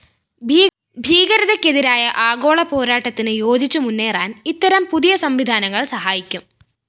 ഭീകരതയ്‌ക്കെതിരായ ആഗോള പോരാട്ടത്തിനു യോജിച്ചുമുന്നേറാന്‍ ഇത്തരം പുതിയ സംവിധാനങ്ങള്‍ സഹായിക്കും